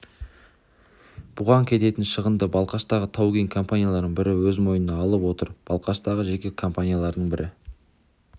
бұған кететін шығынды балқаштағы тау-кен компанияларының бірі өз мойнына алып отыр ал балқаштағы жеке компаниялардың бірі